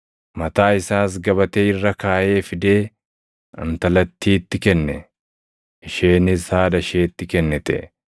mataa isaas gabatee irra kaaʼee fidee intalattiitti kenne. Isheenis haadha isheetti kennite.